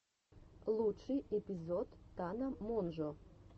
лучший эпизод тана монжо